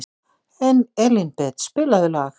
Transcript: Elínbet, spilaðu lag.